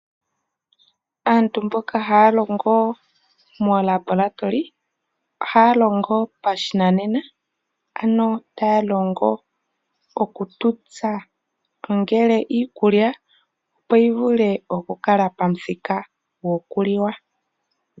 Aantu mboka haya longo moolabolatoli, ohaya longo pashinanena, ano taya longo oku tuta, ongele iikulya opo yi vule oku kala pamuthika gwoku liwa.